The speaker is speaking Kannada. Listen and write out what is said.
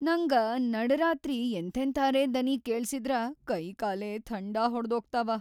ನಂಗ ನಡ್‌ ರಾತ್ರಿ ಎಂಥೆಂಥಾರೆ ದನಿ ಕೇಳ್ಸಿದ್ರ ಕೈಕಾಲೇ ಥಂಡಾ ಹೊಡ್ದೋಗ್ತಾವ.